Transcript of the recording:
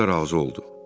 Kral da razı oldu.